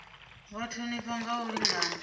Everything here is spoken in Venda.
vha thonifha nga u lingana